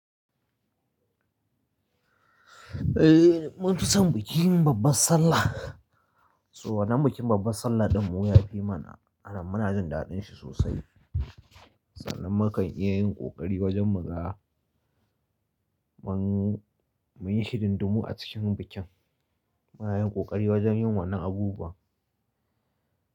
Eh, mun fi son bikin babbar Sallah. So wannan bikin babbar Sallah ɗin mu ya fi mana, anan muna jin daɗin shi sosai. Sannan muka iya yin ƙoƙari wajen muga. Mun, mun yi shi dindimu a cikin bikin. Muna yin kokari wajen yin wannan abubuwan.